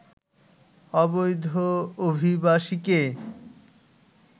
অবৈধ অভিবাসীকে